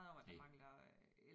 Næ